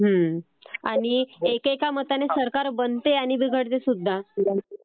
हो, आणि एकेका मताने सरकार बनते आणि बिघडते सुद्धा.